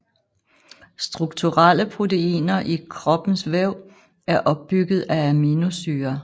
Strukturelle proteiner i kroppens væv er opbygget af aminosyrer